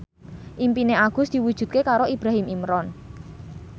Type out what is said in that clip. impine Agus diwujudke karo Ibrahim Imran